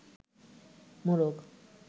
মোরগ